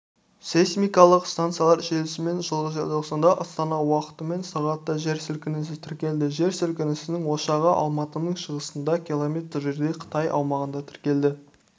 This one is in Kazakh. сейсмикалық станциялар желісімен жылғы желтоқсанда астана уақытымен сағатта жер сілкінісі тіркелді жер сілкінісінің ошағы алматының шығысында км жерде қытай аумағында тіркелді